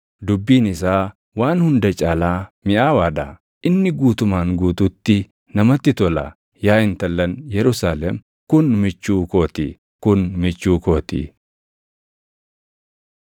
Dubbiin isaa waan hunda caalaa miʼaawaa dha; inni guutumaan guutuutti namatti tola. Yaa intallan Yerusaalem, kun michuu koo ti; kun michuu koo ti.